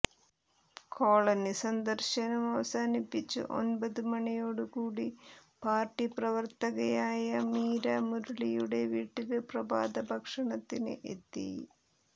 colony സന്ദര്ശനം അവസാനിപ്പിച്ച് ഒമ്പത് മണിയോടുകൂടി പാര്ട്ടി പ്രവര്ത്തകയായ മീര മുരളിയുടെ വീട്ടില് പ്രഭാതഭക്ഷണത്തിന് എത്തി